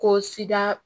Ko sida